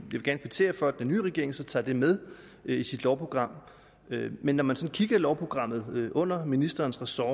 vil gerne kvittere for at den nye regering så tager det med i sit lovprogram men når man kigger i lovprogrammet under ministerens ressort